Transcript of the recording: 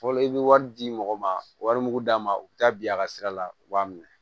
Fɔlɔ i bɛ wari di mɔgɔ ma wari mugu d'a ma u bɛ taa bi a ka sira la u b'a minɛ